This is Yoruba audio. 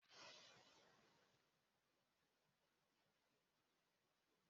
Paulu yóò di olukọni ní ẹka ti ìtàn